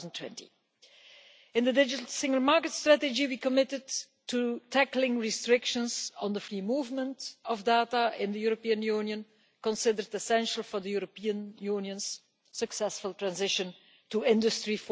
2020. In the Digital Single Market Strategy we committed to tackling restrictions on the free movement of data in the European Union, considered essential for the European Union's successful transition to Industry